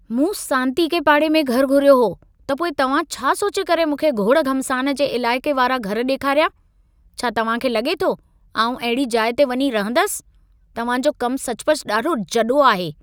मूं सांतीके पाड़े में घर घुरियो हो, त पोइ तव्हां छा सोचे करे मूंखे गोड़-घमासान जे इलाइक़े वारा घर ॾेखारिया? छा तव्हां खे लॻे थो, आउं अहिड़ी जाइ ते वञी रहंदसि? तव्हां जो कम सचपचु ॾाढो जॾो आहे।